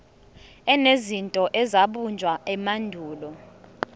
enezinto ezabunjwa emandulo